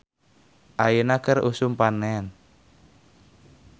"Ayeuna keur usum panen "